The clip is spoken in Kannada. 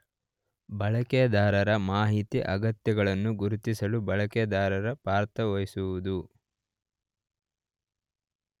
ಬಳಕೆದಾರರ ಮಾಹಿತಿ ಅಗತ್ಯಗಳನ್ನು ಗುರುತಿಸಲು ಬಳಕೆದಾರನು ಪಾತ್ರ ವಹಿಸುವುದು.